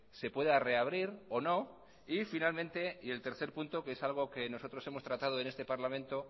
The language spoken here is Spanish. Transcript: se pueda reabrir o no y finalmente y el tercer punto que es algo que nosotros hemos tratado en este parlamento